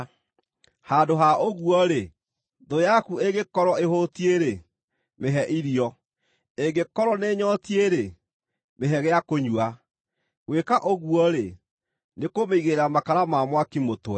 Handũ ha ũguo-rĩ: “Thũ yaku ĩngĩkorwo ĩhũtiĩ-rĩ, mĩhe irio; ĩngĩkorwo nĩĩnyootiĩ-rĩ, mĩhe gĩa kũnyua. Gwĩka ũguo-rĩ, nĩkũmĩigĩrĩra makara ma mwaki mũtwe.”